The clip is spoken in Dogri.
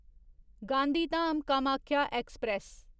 गांधीधाम कामाख्या ऐक्सप्रैस